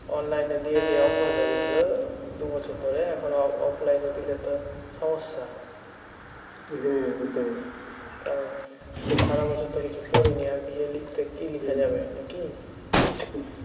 online এ দিয়ে দিয়ে অভ্যাস হয়ে গেছিল দুবছর ধরে এখন অ~ offline এ দিলে তো সমস্যা কারণ সারা বছর তো কিছু পড়িনি আর গিয়ে লিখতে কী লেখা যাবে? নাকি?